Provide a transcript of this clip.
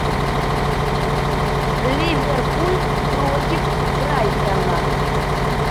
ливерпуль против брайтона